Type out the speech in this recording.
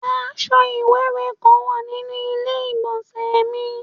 Aṣọ iwẹwẹ kan wa ninu ile-igbọnsẹ mi